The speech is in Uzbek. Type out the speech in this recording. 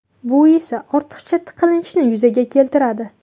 Bu esa ortiqcha tiqilinchni yuzaga keltiradi.